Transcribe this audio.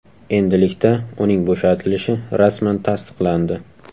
Endilikda uning bo‘shatilishi rasman tasdiqlandi.